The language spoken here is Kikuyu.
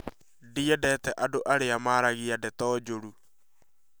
Ndiendete andũ arĩa maaragia ndeto njũru